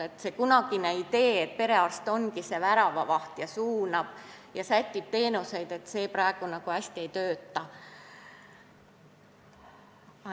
Nii et see kunagine idee, et perearst ongi väravavaht, kes suunab ja sätib teenuseid, enam hästi ei toimi.